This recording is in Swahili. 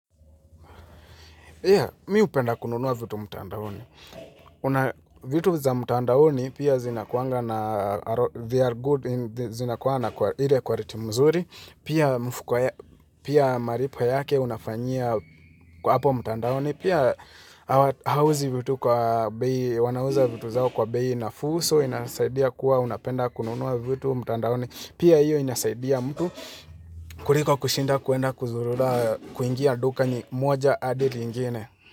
Mi hupenda kununuwa vitu mtandaoni. Vitu za mtandaoni pia zinakuanga na they are good, zinakuanga na quality mzuri, pia mfuko malipo yake unafanyia hapo mtandaoni, pia hauziwi vitu kwa bei, wanauza vitu zao kwa beii nafuu so, inasaidia kuwa unapenda kununuwa vitu mtandaoni, pia hiyo inasaidia mtu kuliko kushinda kuenda kuzurura kuingia duka ni moja hadi lingine.